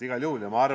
Igal juhul!